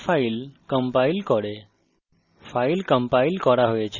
এটি আমাদের তৈরি করা file compiles করে